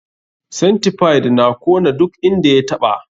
Centipide na kona duk inda ya taɓa.